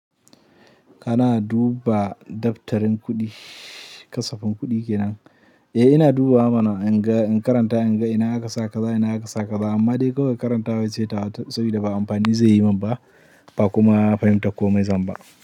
Kana duba daftarin kuɗi, kasafin kuɗi kenan? Eh, ina dubawa mana in ga, in karanta in ga ina aka sa kaza, ina aka sa kaza. Amma dai kawai karantawa ce tawa, sabida ba amfani zai yi mun ba, ba kuma fahimtar komai zan ba.